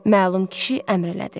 Məlum kişi əmr elədi.